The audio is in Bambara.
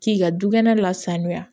K'i ka dukɛnɛ lasanuya